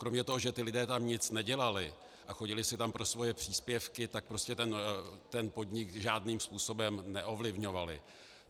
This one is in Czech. Kromě toho, že ti lidé tam nic nedělali a chodili si tam pro svoje příspěvky, tak prostě ten podnik žádným způsobem neovlivňovali.